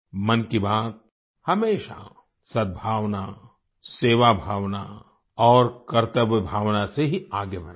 मन की बात हमेशा सद्भावना सेवाभावना और कर्तव्यभावना से ही आगे बढ़ा है